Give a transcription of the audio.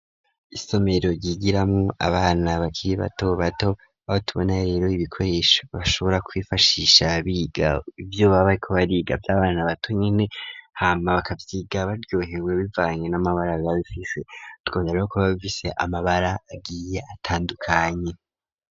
Isomero ryigiramwo abana bakiri bato bato abo tubona rero ibikoresho bashobora kwifashisha biga ibyo babaye ko bariga ivy'abana bato nyene hama bakabyiga baryohewe bivanye n'amabara ga bifise twoneraho ko bbavise amabara agiye atandukanye.